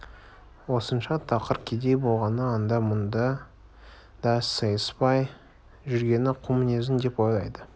осынша тақыр кедей болғаны анда да мұнда да сыйыспай жүргені қу мінезінен деп ойлайды